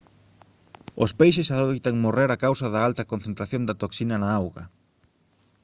os peixes adoitan morrer a causa da alta concentración da toxina na auga